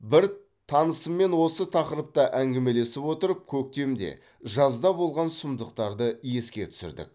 бір танысыммен осы тақырыпта әңгімелесіп отырып көктемде жазда болған сұмдықтарды еске түсірдік